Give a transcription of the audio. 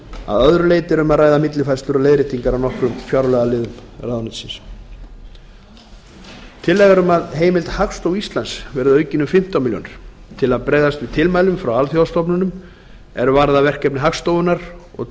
að öðru leyti er um að ræða millifærslur og leiðréttingar á nokkrum fjárlagaliðum ráðuneytisins tillaga er um að fjárheimild hagstofu íslands verði aukin um fimmtán milljónir króna til að bregðast við tilmælum frá alþjóðastofnunum er varða verkefni hagstofunnar og